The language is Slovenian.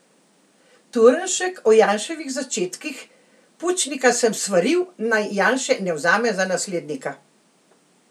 Turnšek o Janševih začetkih: "Pučnika sem svaril, naj Janše ne vzame za naslednika.